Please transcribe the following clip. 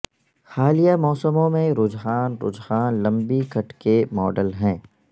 حالیہ موسموں میں رجحان رجحان لمبی کٹ کے ماڈل ہیں